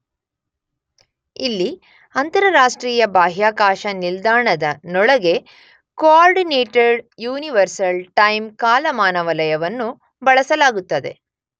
ಇಲ್ಲಿ ಅಂತರರಾಷ್ಟ್ರೀಯ ಬಾಹ್ಯಾಕಾಶ ನಿಲ್ದಾಣದನೊಳಗೆ ಕೋಆರ್ಡಿನೇಟೆಡ್ ಯುನಿವರ್ಸಲ್ ಟೈಮ್ ಕಾಲಾಮಾನ ವಲಯವನ್ನು ಬಳಸಲಾಗುತ್ತದೆ.